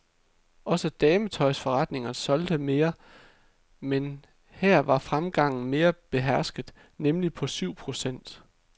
Også dametøjsforretningerne solgte mere, men her var fremgangen mere behersket, nemlig på syv procent.